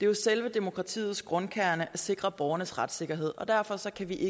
jo selve demokratiets grundkerne at sikre borgernes retssikkerhed og derfor kan vi i